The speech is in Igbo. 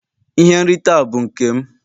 Ihe nrite a bụ nke m.